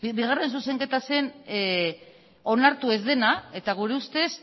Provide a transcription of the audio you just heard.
bigarren zuzenketa zen onartu ez dena eta gure ustez